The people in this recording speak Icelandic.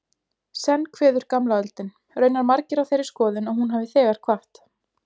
Senn kveður gamla öldin, raunar margir á þeirri skoðun að hún hafi þegar kvatt.